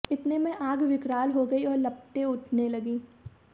इतने में आग विकराल हो गई और लपटे उठने लगी